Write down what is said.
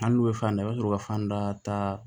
Hali n'u bɛ fan da i bɛ sɔrɔ ka fan da